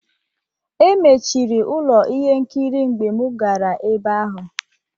Emechiri ụlọ ihe nkiri mgbe m gara ebe ahụ.